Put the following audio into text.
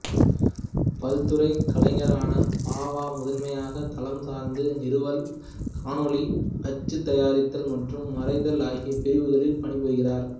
பல்துறை கலைஞரான பாவா முதன்மையாக தளம் சார்ந்த நிறுவல் காணொளி அச்சு தயாரித்தல் மற்றும் வரைதல் ஆகிய பிரிவுகளில் பணிபுரிகிறார்